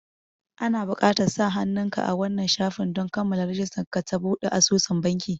Ana buƙatar sa hannun ka a wannan shafin don kammala rijistar ka ta buɗe asusun banki